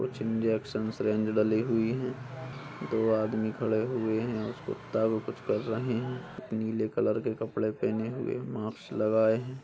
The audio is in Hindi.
कुछ इंजेक्शंस रेंज डली हुई हैं दो आदमी खड़े हुए हैं और कुत्ता को कुछ कर रहे हैं| नीले कलर के कपड़े पहने हुए हैं मास्क लगाए हैं ।